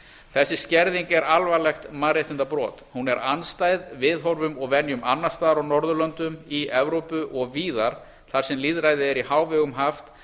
þessi skerðing er alvarlegt mannréttindabrot hún er andstæð viðhorfum og venjum annars staðar á norðurlöndum í evrópu og víðar þar sem lýðræði er í hávegum haft